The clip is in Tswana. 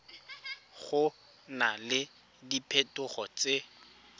go na le diphetogo tse